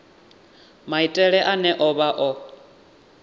maitele ane a vha o